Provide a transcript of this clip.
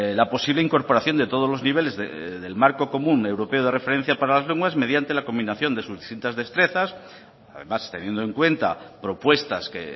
la posible incorporación de todos los niveles del marco común europeo de referencia para las lenguas mediante la combinación de sus distintas destrezas además teniendo en cuenta propuestas que